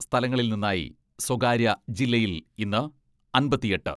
സ്ഥലങ്ങളിൽ നിന്നായി സ്വകാര്യ ജില്ലയിൽ ഇന്ന് അമ്പത്തിയെട്ട്